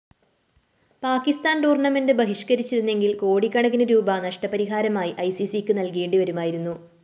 പാക്കിസ്ഥാന്‍ tournament ബഹിഷ്‌കരിച്ചിരുന്നെങ്കില്‍ കോടിക്കണക്കിന് rupee നഷ്ടപരിഹാരമായി ഐസിസിക്ക് നല്‍കേണ്ടിവരുമായിരുന്നു